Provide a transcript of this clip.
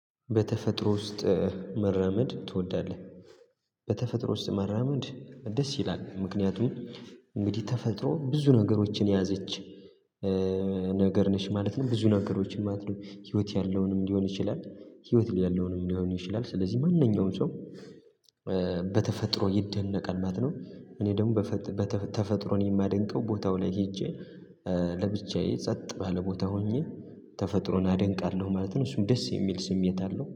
በተፈጥሮ ውስጥ መራመድ ትወዳለህ? በተፈጥሮ ውስጥ መራመድ ደስ ይላል ምክንያቱም እንግዲህ ተፈጥሮ ብዙ ነገሮችን የያዘች ነገር ነች ማለት ነው ብዙ ነገሮች ማለት ነው ህይወት ያለውንም ሊሆን ይችላል ህይወት የሌለዉንም ሊሆን ይችላል ስለዚህ ማንኛውም ሰው በተፈጥሮ ይደነቃል ማለት ነው እኔ ደግሞ በ ተፈጥሮን የማደንቀው ቦታው ላይ ሄጄ ለብቻዬ ጸጥ ባለ ቦታ ሆኜ ተፈጥሮን አደንቃለሁ ማለት ነው እሱም ደስ የሚል ስሜት አለው።